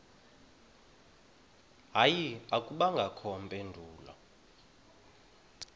hayi akubangakho mpendulo